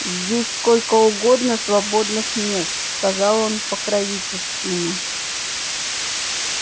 здесь сколько угодно свободных мест сказал он покровительственно